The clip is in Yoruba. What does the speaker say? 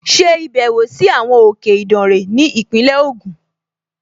Ṣe ìbẹ̀wò sí àwọn òkè Ìdànre ní Ìpínlẹ̀ Ògùn!